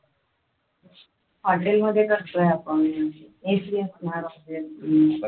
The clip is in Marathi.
hotel मध्ये करतोय आपण AC असणार obiously